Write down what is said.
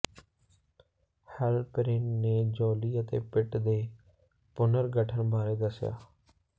Halperin ਨੇ Jolly ਅਤੇ Pitt ਦੇ ਪੁਨਰਗਠਨ ਬਾਰੇ ਦੱਸਿਆ